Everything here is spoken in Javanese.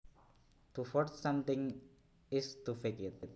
To forge something is to fake it